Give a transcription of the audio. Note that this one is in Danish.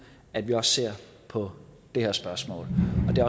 at vi også ser på det her spørgsmål og det